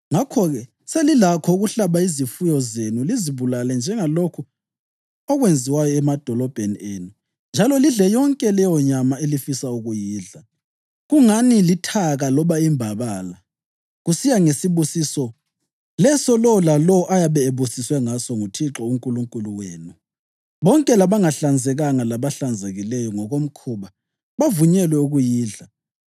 Ngalokho-ke, selilakho ukuhlaba izifuyo zenu lizibulale njengalokhu okwenziwayo emadolobheni enu njalo lidle yonke leyonyama elifisa ukuyidla, kungani lithaka loba imbabala, kusiya ngesibusiso leso lowo lalowo ayabe ebusiswe ngaso nguThixo uNkulunkulu wenu. Bonke labangahlanzekanga labahlanzekileyo ngokomkhuba bavunyelwe ukuyidla.